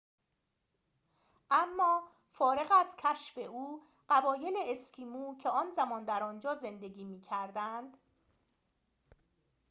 اما فارغ از کشف او قبایل اسکیمو در آن زمان در آنجا زندگی می‌کردند